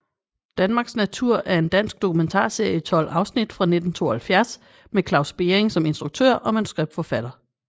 Danmarks natur er en dansk dokumentarserie i 12 afsnit fra 1972 med Claus Bering som instruktør og manuskriptforfatter